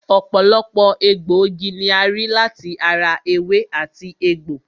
Ọ̀pọ̀lọpọ̀ egbòogi ni a rí láti ara ewé àti egbò